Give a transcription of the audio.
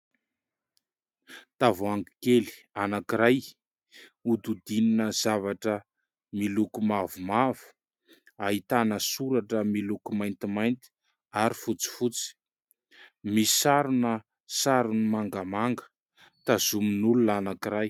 Tavoahangy kely anakiray hododinina zavatra miloko mavomavo, ahitana soratra miloko maintimainty ary fotsi fotsy, misarona sarony mangamanga tazomin'olona anankiray.